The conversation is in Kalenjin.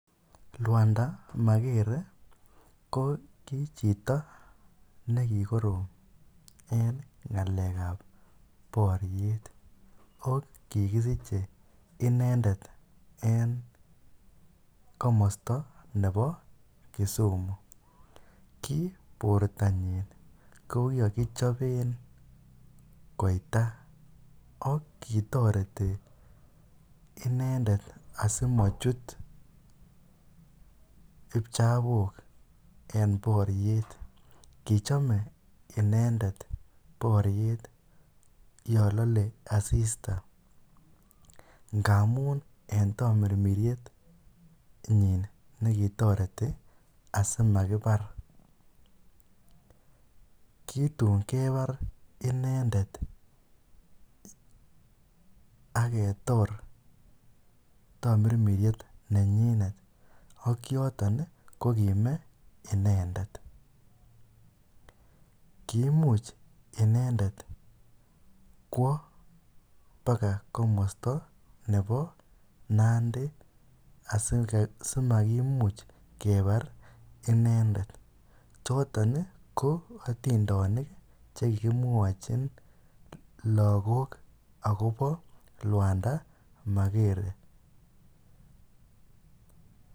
rwonda magere ko kichito nekigoroom en ngalek ab boryeet ko kigisiche inendet en komosto nebo kisumu, kii bortonyin ko kigochoben koita ak kitoreti inendet asimochut ipchabook en boryeet, kichome inendet bory=eet yon lole asista ngamuun en tomirmiryet nyiin negitoreti asimagibaar, kitun kebaar inendet ak ketoor tomirmiryet nemyinet ak yoton iih ko kime inendet, kimuuch inendet kwoo baka komosto nebo nandi simakimuch kebaar inendet, choton iih ko atindonik chekikimwochin lagook agobo lwanda magere,